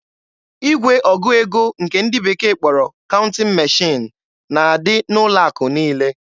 Igwe ọgụ ego nke ndị bekee kpọrọ "counting machine" na-adị n'ụlọ akụ niile.